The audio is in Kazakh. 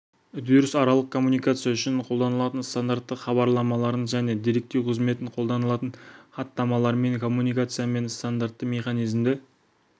үдеріс аралық коммуникация үшін қолданылатын стандартты хабарламаларын және деректеу қызметін қолданатын хаттамалармен коммуникациямен стандартты механизмді